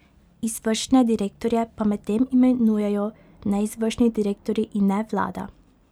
Izvršne direktorje pa medtem imenujejo neizvršni direktorji in ne vlada.